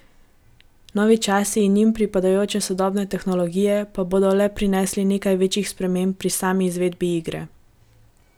Novi časi in njim pripadajoče sodobne tehnologije pa bodo le prinesli nekaj večjih sprememb pri sami izvedbi igre.